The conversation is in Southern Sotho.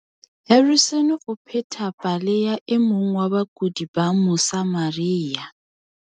Harrison o pheta pale ya e mong wa bakudi ba Mosa maria.